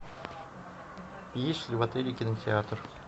есть ли в отеле кинотеатр